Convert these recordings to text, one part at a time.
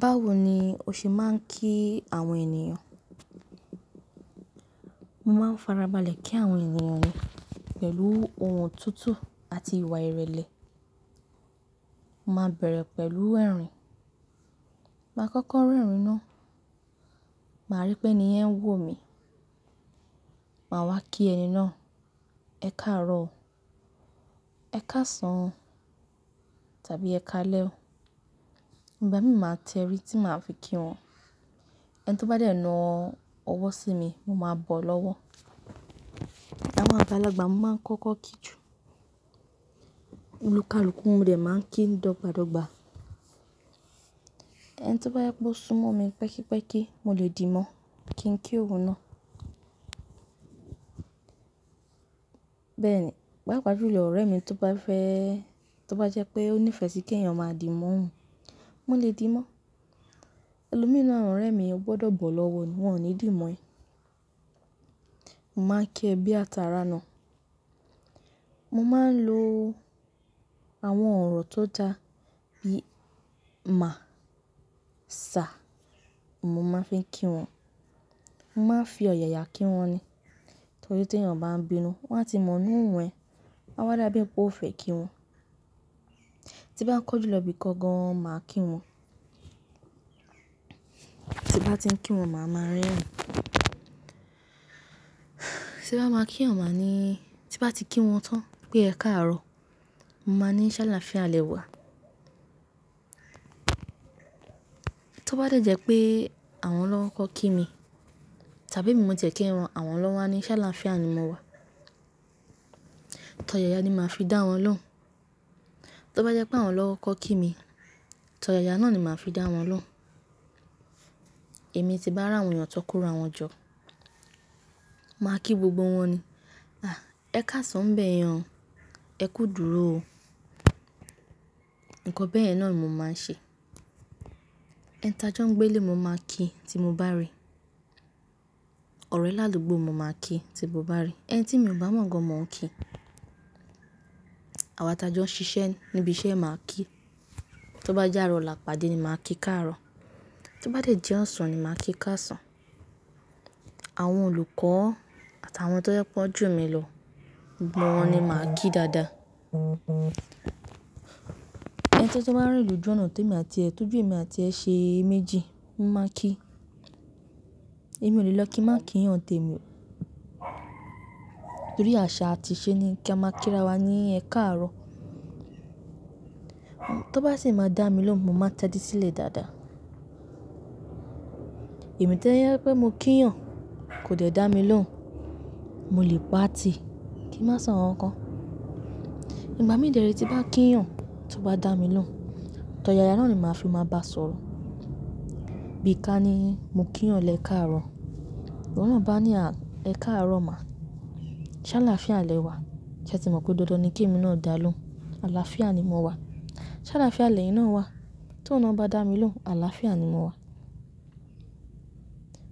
Báwo ni o ṣe máa ń kí àwọn ènìyàn? Mo máa ń fara balẹ̀ kí àwọn ènìyàn ni, pẹ̀lú ohùn tutu àti ìwà ìrẹ̀lẹ̀. Mo máa bẹ̀rẹ̀ pẹ̀lú ẹ̀rín. Máa kọ́kọ́ rẹ̀rín náà, màá rí pé ni yen ń wò mi, màá wá kí ẹni náà. Ẹkáàárọ̀ o, Ẹkáàsán tàbí Ẹkáalẹ́ o. Ìgbá mi máa tẹrí tí màá fi kí wọn. Ẹni tí ó bá dẹ̀ náà ọwọ́ sí mi, mo máa bọ̀ lọ́wọ́. Awon àgbàlagbà, mo máa ń kọ́kọ́ kí ju, olùkalùkù mo de ma ń kí ni dọ́gba dọ́gba. Ẹni to bá jẹpe ó sún mọ́ mi pẹ́kí pẹ́kí, mo lè dì mọ́ kí n kí òun náà. Bẹ́ẹ̀ ni, bápa júlọ ọ̀rẹ́ mi tó bá fẹ́, tó bá jẹ́ pé ó nífẹ̀ẹ́ sí kí ènìyàn máa dì mọ́ òun, mo lè dì mọ́. Ẹlòmi n nu, awon orẹ́ mi ò gbọdọ̀ bọ̀ lọ́wọ́ ni, wọ́n ò ní dì mọ́ ẹ. Mo máa ń kí ẹ bí atàrà nà. Mo máa ń lo àwọn ọ̀rọ̀ tó da, bíi "mà", "sir", mo máa ń fi kí wọn. Mo máa ń fi ọ̀yàyà kí wọn ni. Torí tí èeyàn bá ń bínú, wọ́n a ti mọ ni òhun ẹ. Wọ́n a wá dá bí i pé ó fẹ́ kí wọn. Tí n bá ń kọ́njú lọ bí i kan gan, máa kí wọn. Tí n bá ti ń kí wọn, màá máa rẹ́rin. Tí n bá máa kí èeyàn, màá ní, tí bá ti kí wọn tán pé Ẹkáàárọ̀ o, mo máa ní Sálàfíà lẹ wá. Tó bá dẹ̀ jẹ́ pé àwọn lọ́ kọko kí mi tàbí emi mo ti e kí wọn, àwọn lọ́ wa ni ṣáláfíà ni mo wá. Torí ọ̀yàyà ni màá fi dá wọn lóhùn. Tó bá jẹ́ pé àwọn lọ́kọ kí mi, to ọ̀yàyà náà ni màá fi dá wọn lóhùn. Èmi tí bá ràwọn eeyàn tó kora wọn jọ́, màá kí gbogbo wọn ní, "À, Ẹkáàsán n bẹ́ẹ̀ yen o, ẹ kú idúró o." Ǹkan bẹ́ẹ̀ náà ni mo máa ń ṣe. Ẹni tajọ́ ń gbé ílé, mo máa kí tí mo bá rí i. Ọ̀rẹ́ láàdúgbó, mo máá kí i tí mo bá rí i. Ẹni tí mi ò bá mọ̀ gan, mo n kí i. Àwọn atajọ́ ń ṣiṣẹ́ níbi iṣẹ́, màá kí i. Tó bá jẹ́ ààrọ̀ làpàdé ni màá kí káàárọ̀. To bá dẹ̀ jẹ́ ọ̀sán ni màá kí káàsán. Àwọn olùkọ́ àtàwọn tó jẹ pe won jù mí lọ, gbogbo wọn ni màá kí dàda. Ẹni to tun báa ń rí lójú ọ̀nà tóju èmi àti ẹ, t'óju èmi àti ẹ ṣe méjì, mo máa kí i. Èmi ò le lọ kí n máa kí eeyàn n tẹ mi, torí àṣà àti ìṣe ni kí a máa kí ara wa ní Ẹ káàárọ̀ o. Tó bá sì máa dá mi lóhùn, mo máa tẹ́di sílẹ̀ dáadáa. Èmi to yẹ pé mo kí èyàn, kò dẹ̀ dá mi lóhùn, mo lè pa tì kí n máa sọ̀ nkan kán. Ìgbá mi dẹ re tí bá kí èeyàn tó bá dá mi lóhùn, to ọ̀yàyà náà ni màá fi máa bá sọ̀rọ̀. Bí i ká ní, mo kí èèyàn lẹ káàárọ̀ o, ìwọ náà bá ní a, ẹ káàárọ̀ máa, ṣáláfíà lẹ wá. Ṣé ẹ ti mọ̀ pé dandan ni kí èmi náà dá lóhùn. Àlàáfíà ni mo wá. Ṣáláfíà lẹyin ná wá. Tó oun náà bá dá mi lóhùn, àlàáfíà ni mo wá.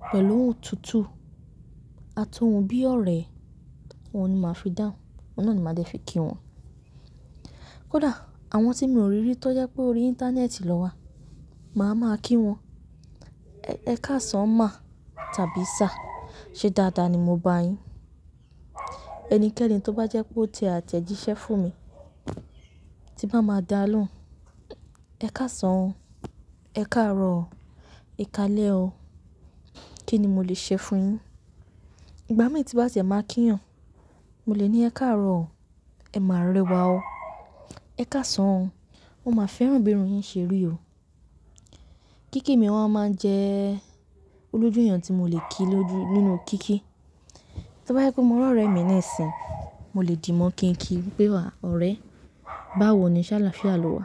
Pẹ̀lú ohùn tuntun àti ohùn bí i ọ̀rẹ́, ohun ni màá fi dáun. Oun náà ni màá dẹ́ fi kí wọn. Kódà àwọn tí mi ò rí rí tọ́ jẹ pé ó rí íńtánẹ́ẹ̀tì na wá, màá máa kí wọn. Ẹ káàsán ma tàbí sà, ṣe dáadáa ni mo bá yín. Ẹnikẹ́ni tó bá jẹ́ pé ó tẹ àtẹ̀jíṣẹ́ fún mi tí bá máa dá lóhùn, Ẹ káàsán, Ẹ káàárọ̀ o, ẹ káalẹ́ o. Kí ni mo lè ṣe fún un yín? Igbá mi tí bá ti ẹ̀ máa kí ènìyàn, mo lè ní Ẹ káàárọ̀ o, ẹ máa rẹwà o, Ẹ káàsán, mo máa fẹ́ràn bí i irun yín ṣe rí o. Kíkí mi wọ́n a máa ń jẹ́ olójú èeyàn tí mo lè kí lóju nínú kíkí. Tí ó bá jẹ́ pé mo rí ọ̀rẹ́ mi nisíyin, mo lè dì mọ́ kí n kí i pé, "À, ọ̀rẹ́, báwo ni ṣáláfíà lo wá?"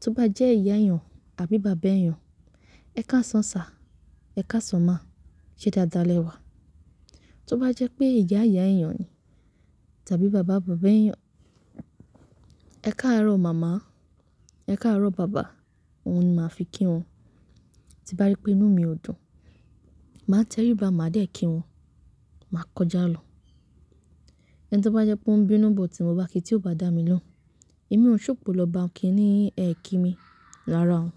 Tí ó bá jẹ́ ìyá èeyàn àbí bàbá èeyàn, Ẹ káàsán sa, Ẹ káàsán ma, ṣe dáadáa lẹ wá. Tí ó bá jẹ́ pé ìyá ìyá ènìyàn ni tàbí bàbá bàbá ènìyàn, Ẹ káàárọ̀ màmá, Ẹ káàárọ̀ bàbá, oun ni màá fi kí wọn. Tí bá rí pé inú mi ò dùn, màá tẹrí bá, màá dé kí wọn, màá kọjá lọ. Ẹni tí ó bá jẹ́ pé ó ń bínú bó ti mo bá kí i tí ó bá dá mi lóhùn, èmi ò hun ṣòpò lọ bá òun kí i ní Ẹ kí mi, rárá o.